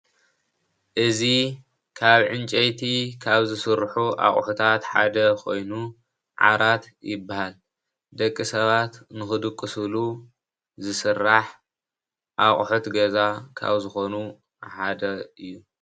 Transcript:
እዚ ካብ ዕንጨይቲ ካበ ዝስሩሑ አቁሑታት ሓደ ኮይኑ ዓራት ይበሃል ደቂ ሰባት ንክድቁሱሉ ዝስራሕ አቁሑት ገዛ ካብ ዝኮኑ ሓደ እዩ፡፡